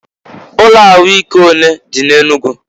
Ụlọ ahụ ike onee dị n'Enugu?